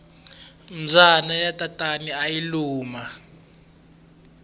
mbyana ya tatana ayi luma